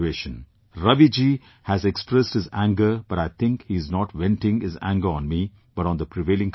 Ravi ji has expressed his anger but I think he is not venting his anger on me but on the prevailing conditions